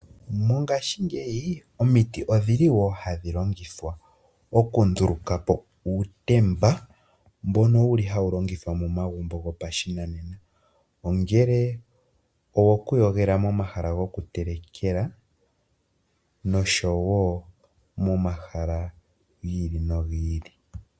Mongaashingeyi omiti odhili woo hadhi longithwa oku ndulukapo uutemba mbono wuli hawu longithwa momagumbo gopashinanena , ongele owoku yogela momahala goku telekela noshowo momahala gi ili nogi ili.